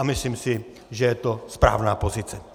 A myslím si, že je to správná pozice.